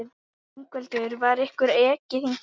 Ingveldur: Var ykkur ekið hingað?